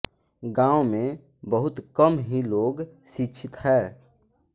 गाँव में बहुत कम ही लोग शिक्षित है